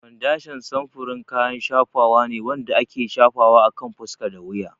Fondashan samfurin kayan shafawa ne wanda ake shafawa akan fuska da wuya.